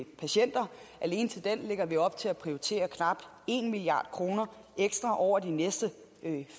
patienter alene til den lægger vi op til at prioritere knap en milliard kroner ekstra over de næste